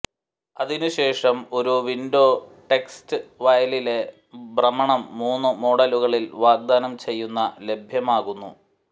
അതിനു ശേഷം ഒരു വിൻഡോ ടെക്സ്റ്റ് വയലിലെ ഭ്രമണം മൂന്ന് മോഡലുകളിൽ വാഗ്ദാനം ചെയ്യുന്ന ലഭ്യമാകുന്നു